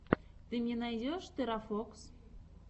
ты мне найдешь терафокс